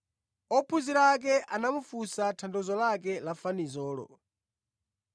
Ophunzira ake anamufunsa tanthauzo lake la fanizolo.